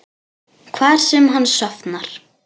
Hvar sem hann sofnar.